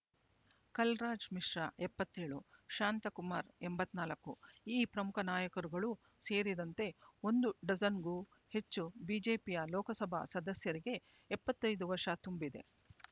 ಕಲ್‌ರಾಜ್ ಮಿಶ್ರಾ ಎಪ್ಪತ್ತೇಳು ಶಾಂತಕುಮಾರ್ ಎಂಬತ್ತ್ ನಾಲ್ಕು ಈ ಪ್ರಮುಖ ನಾಯಕರುಗಳು ಸೇರಿದಂತೆ ಒಂದು ಡಜನ್‌ಗೂ ಹೆಚ್ಚು ಬಿಜೆಪಿಯ ಲೋಕಸಭಾ ಸದಸ್ಯರಿಗೆ ಎಪ್ಪತ್ತೈದು ವರ್ಷ ತುಂಬಿದೆ